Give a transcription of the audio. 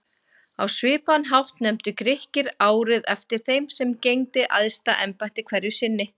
Á svipaðan hátt nefndu Grikkir árið eftir þeim sem gegndi æðsta embætti hverju sinni.